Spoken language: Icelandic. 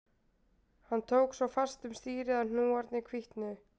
Hann tók svo fast um stýrið að hnúarnir hvítnuðu